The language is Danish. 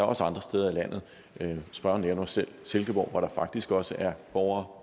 også andre steder i landet spørgeren nævner selv silkeborg hvor der faktisk også er borgere